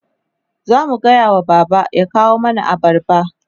zamu gayawa baba ya kawo mana abarba